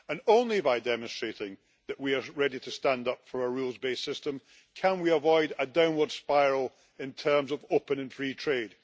Only by demonstrating that we are ready to stand up for a rules based system can we avoid a downward spiral in terms of open and free trade.